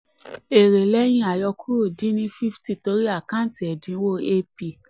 èrè lẹ́yìn àyọkúrò dín ni fifty torí àkáǹtì ẹ̀dínwó ap